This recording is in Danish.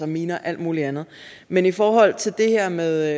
miner og alt muligt andet men i forhold til det her med